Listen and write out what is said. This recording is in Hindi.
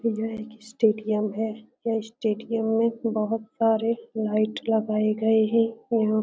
यह एक स्टेडियम है। यह स्टेडियम में बहोत सारे लाईट लगाये गए हैं । यहाँ --